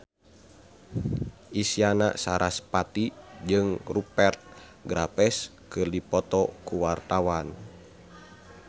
Isyana Sarasvati jeung Rupert Graves keur dipoto ku wartawan